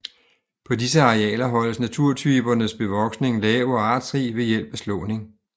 På disse arealer holdes naturtypernes bevoksning lav og artsrig ved hjælp af slåning